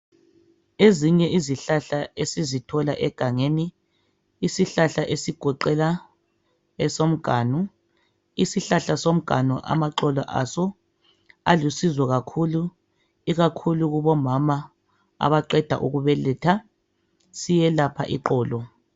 Ezinye izihlahla esizithola egangeni isihlahla esigoqela esomganu, isihlahla somganu amaxolo aso alusizo kakhulu ikakhulu kobomama abaqeda ukubeletha siyelapha iqolo.